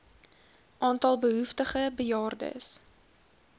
aantal behoeftige bejaardes